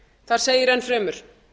það segir enn fremur